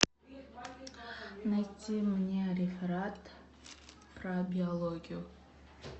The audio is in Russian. найти мне реферат про биологию